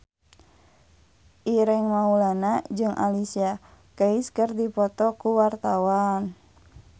Ireng Maulana jeung Alicia Keys keur dipoto ku wartawan